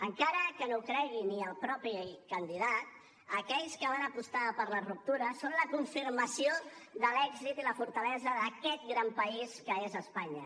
encara que no ho cregui ni el mateix candidat aquells que van apostar per la ruptura són la confirmació de l’èxit i la fortalesa d’aquest gran país que és espanya